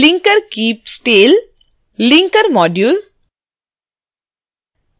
linkerkeepstale linkermodule